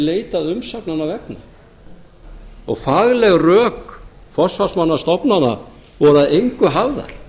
hefði verið umsagnanna vegna og fagleg rök forsvarsmanna stofnana voru að engu hafðar